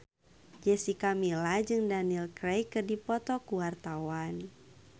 Jessica Milla jeung Daniel Craig keur dipoto ku wartawan